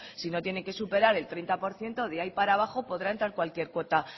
si no tiene que superar el treinta por ciento de ahí para abajo podrá entrar cualquier cuota